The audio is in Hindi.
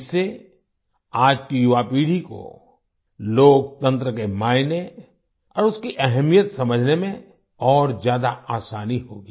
इससे आज की युवा पीढ़ी को लोकतंत्र के मायने और उसकी अहमियत समझने में और ज्यादा आसानी होगी